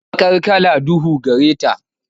Baqar kala duhu gare ta.